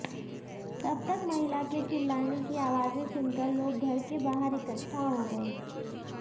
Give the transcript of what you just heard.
तब तक महिला के चिल्लाने की आवाजे सुनकर लोग घर के बाहर इक्टठा हो गए